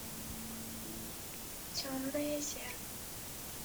темное зеркало